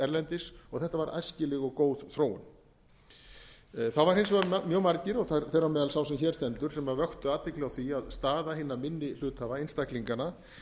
erlendis og þetta var æskileg og góð þróun það voru hins vegar mjög margir og þeirra á meðal sá sem hér stendur sem vöktu athygli á því að staða hinni minni hluthafa einstaklinganna